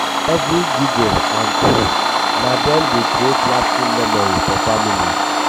every giggle and coo na dem dey creat lasting memory for families.